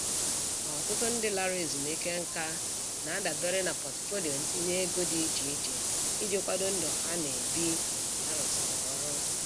Ọtụtụ ndị lara ezumike nka na-adabere na pọtụfoliyo ntinye ego dị iche iche iji kwado ndụ ha na-ebi mgbe ha rụsịrị ọrụ.